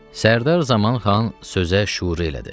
Sərdar Zamanxan sözə şüur elədi.